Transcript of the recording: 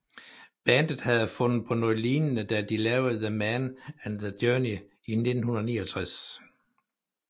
Bandet havde fundet på noget lignende da de lavede The Man and the Journey i 1969